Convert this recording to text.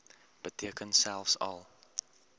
beteken selfs al